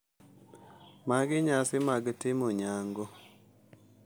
Magi nyasi mag timo nyango.